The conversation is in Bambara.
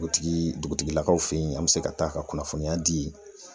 O tigi dugutigilakaw fe yen , an be se ka taa a ka kunnafoniya di